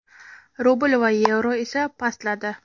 rubl va yevro esa pastladi.